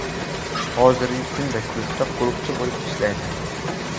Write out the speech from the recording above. Hozirgi kunda klubda qo‘riqchi bo‘lib ishlaydi.